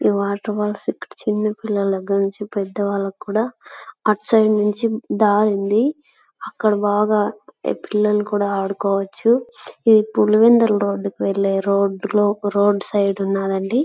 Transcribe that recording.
ఈ వాటర్ వాళ్ళు ఇక్కడ చిన్న పిల్లల దగ్గర నుంచి పెద్ద వాళ్లకు కూడా అటు సైడ్ నుంచి దారి ఉంది. అక్కడ బాగా పిల్లలు కూడా ఆడుకోవచ్చు. ఇది పులివెందులకు వెళ్లే రోడ్ లో ఒక రోడ్ సైడ్ ఉన్నదండి.